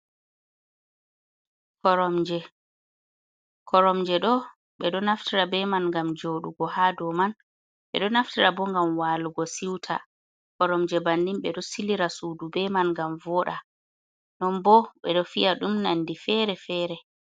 Koromje, koromje do ɓeɗo naftira be man gam joɗugo ha do man ɓedo naftira bo gam walugo siuta, koromje banin ɓe ɗo silira sudu be man ngam voda non bo ɓeɗo fiya ɗum nandi fere-fere.